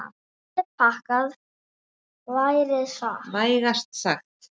Árið er pakkað, vægast sagt.